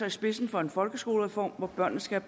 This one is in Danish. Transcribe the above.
i spidsen for en folkeskolereform hvor børnene skal